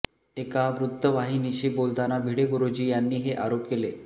एका वृत्तवाहिनीशी बोलताना भिडे गुरुजी यांनी हे आरोप केले